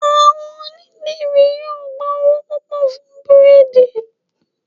Àwọn onídìrí yóò gba owó púpọ̀ fún bírèèdì